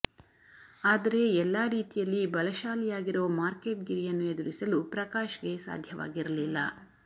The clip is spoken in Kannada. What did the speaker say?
ಆದರೆ ಎಲ್ಲಾ ರೀತಿಯಲ್ಲಿ ಬಲಶಾಲಿಯಾಗಿರೋ ಮಾರ್ಕೇಟ್ ಗಿರಿಯನ್ನು ಎದುರಿಸಲು ಪ್ರಕಾಶ್ ಗೆ ಸಾಧ್ಯವಾಗಿರಲಿಲ್ಲ